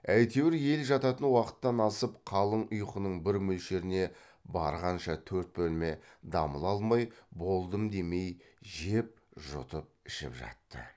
әйтеуір ел жататын уақыттан асып қалың ұйқының бір мөлшеріне барғанша төрт бөлме дамыл алмай болдым демей жеп жұтып ішіп жатты